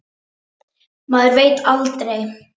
Maður veit aldrei.